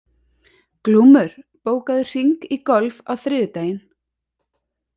Glúmur, bókaðu hring í golf á þriðjudaginn.